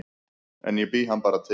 En ég bý hann bara til